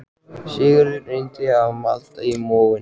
Sigurður reyndi að malda í móinn